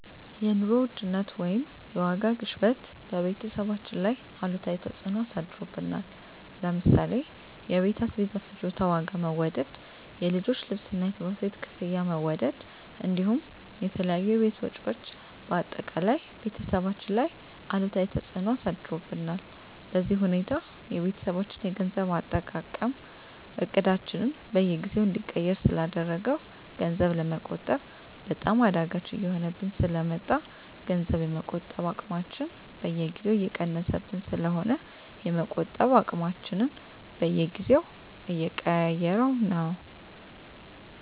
የኑሮ ውድነት ወይም የዋጋ ግሽበት በቤተሰባችን ላይ አሉታዊ ተፅዕኖ አሳድሮብናል ለምሳሌ የቤት አስቤዛ ፍጆታ ዋጋ መወደድ፣ የልጆች ልብስና የትምህርት ቤት ክፍያ መወደድ እንዲሁም የተለያዩ የቤት ወጪዎች በአጠቃላይ ቤተሰባችን ላይ አሉታዊ ተፅዕኖ አሳድሮብናል። በዚህ ሁኔታ የቤተሰባችን የገንዘብ አጠቃቀም እቅዳችንን በየጊዜው እንዲቀየር ስላደረገው ገንዘብ ለመቆጠብ በጣም አዳጋች እየሆነብን ስለ መጣ ገንዘብ የመቆጠብ አቅማችን በየጊዜው እየቀነሰብን ስለሆነ የመቆጠብ አቅማችንን በየጊዜው እየቀያየረው ነው።